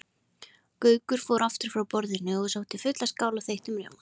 Gaukur fór aftur frá borðinu og sótti fulla skál af þeyttum rjóma.